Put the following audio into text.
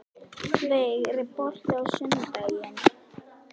Veig, er bolti á sunnudaginn?